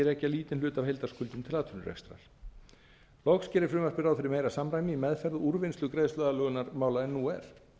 rekja lítinn hluta af heildarskuldum til atvinnurekstrar loks gerir frumvarpið ráð fyrir meira samræmi í meðferð og úrvinnslu greiðsluaðlögunarmála en nú er